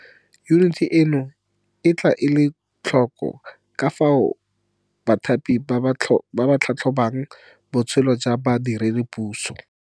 Yuniti eno e tla ela tlhoko ka fao bathapi ba tlhatlhobang botshelo jwa badiredipuso.